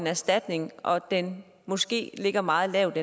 erstatning og den måske ligger meget lavt